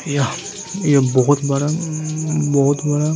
यह एक बोहोत बड़ा उमम बोहोत बड़ा --